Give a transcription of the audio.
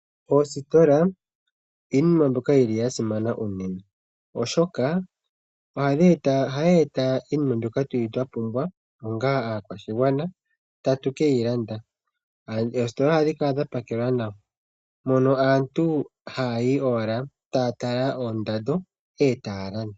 Oositola iinima mbyoka yili yasimana unene, Oshoka ohayi eta iinima mbyoka twapumbwa onga aakwashigwana tatu keyi landa . Oositola ohadhi kala dha pakelwa nawa, mono aantu hayayi owala taya tala oondando etaya landa.